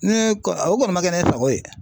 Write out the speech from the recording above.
Ne kɔ o kɔni man kɛ ne sago ye.